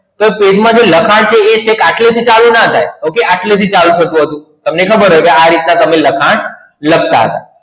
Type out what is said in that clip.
તો પેજ માં જે લખાણ એ છેક આટલે થી ના થાય okay આટલે થી ચાલુ થતું હતું તમને ખબર હોય કૅ આ રીતે લખાણ લખતાતા